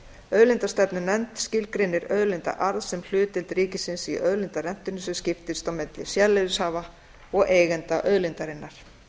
auðlindastefnunefnd skilgreinir auðlindaarð sem hlutdeild ríkisins í auðlindarentunni sem skiptist á milli sérleyfishafa og eigenda auðlindarinnar